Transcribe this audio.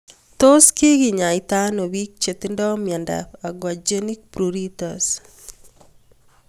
Tos kikenyaita ano pik che tinye miondop aquagenic pruritus